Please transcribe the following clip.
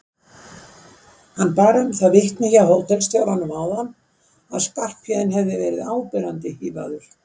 Hann bar um það vitni hjá hótelstjóranum áðan að Skarphéðinn hefði verið áberandi hífaður.